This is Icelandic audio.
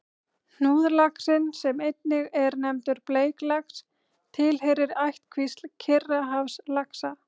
Hnúðlaxinn, sem einnig er nefndur bleiklax, tilheyrir ættkvísl Kyrrahafslaxa.